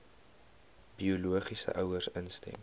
biologiese ouers instem